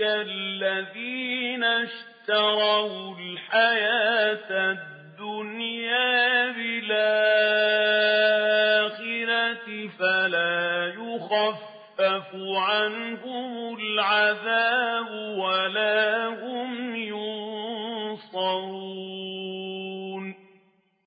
الَّذِينَ اشْتَرَوُا الْحَيَاةَ الدُّنْيَا بِالْآخِرَةِ ۖ فَلَا يُخَفَّفُ عَنْهُمُ الْعَذَابُ وَلَا هُمْ يُنصَرُونَ